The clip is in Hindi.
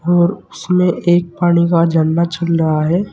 और उसमें एक पानी का झरना चल रहा है।